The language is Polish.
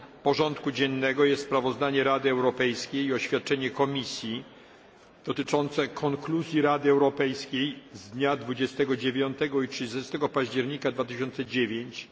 porządku dziennego jest sprawozdanie Rady Europejskiej i oświadczenie Komisji dotyczące konkluzji Rady Europejskiej w dniach 29 i 30 października 2009 r.